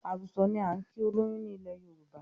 Àrùsọ̀ ni á ń kí olóyún ni ilẹ̀ Yorùbá